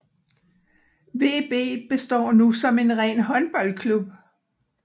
VB består nu som en ren håndboldklub